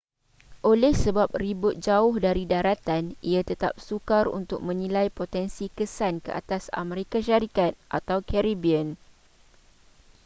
oleh sebab ribut jauh dari daratan ia tetap sukar untuk menilai potensi kesan ke atas amerika syarikat atau caribbean